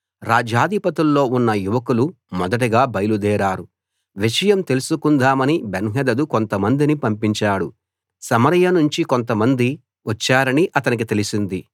రాజ్యాధిపతుల్లో ఉన్న యువకులు మొదటగా బయలుదేరారు విషయం తెలుసుకుందామని బెన్హదదు కొంతమందిని పంపించాడు సమరయ నుంచి కొంతమంది వచ్చారని అతనికి తెలిసింది